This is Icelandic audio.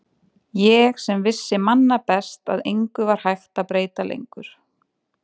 Ég sem vissi manna best að engu var hægt að breyta lengur.